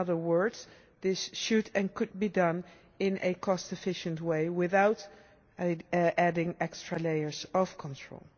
In other words, this should and could be done in a cost efficient way without adding extra layers of control.